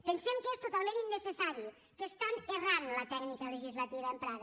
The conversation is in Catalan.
pensem que és totalment innecessari que estan errant la tècnica legislativa emprada